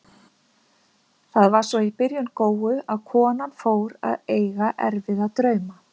Það var svo í byrjun góu, að konan fór að eiga erfiða drauma.